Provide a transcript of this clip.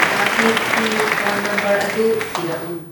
ꯑꯥꯇꯤꯐꯀꯤ phone number ꯑꯗꯨ ꯊꯤꯔꯛꯎ꯫